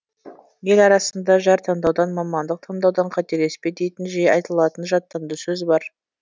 ел арасында жар таңдаудан мамандық таңдаудан қателеспе дейтін жиі айтылатын жаттанды сөз бар